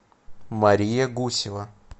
мария гусева